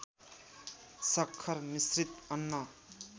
सक्खर मिश्रित अन्न